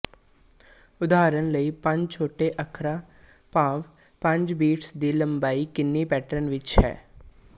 ਉਦਾਹਰਨ ਲਈ ਪੰਜ ਛੋਟੇ ਅੱਖਰਾਂ ਭਾਵ ਪੰਜ ਬੀਟਸ ਦੀ ਲੰਬਾਈ ਕਿੰਨੇ ਪੈਟਰਨਾਂ ਵਿੱਚ ਹੈ